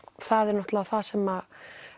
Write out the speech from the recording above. það er náttúrulega sem